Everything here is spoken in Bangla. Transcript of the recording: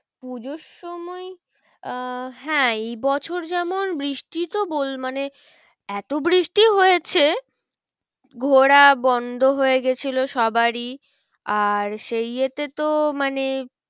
পুজোর সময় আহ হ্যাঁ এই বছর যেমন বৃষ্টি তো মানে এতো বৃষ্টি হয়েছে ঘোরা বন্ধ হয়ে গেছিলো সবারই। আর সেই ইয়েতে তো মানে